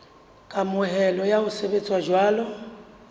kamohelo ya ho sebetsa jwalo